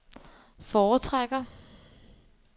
foretrækker